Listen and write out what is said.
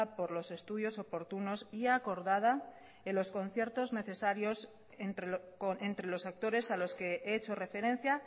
por los estudios oportunos y acordada en los conciertos necesarios entre los actores a los que he hecho referencia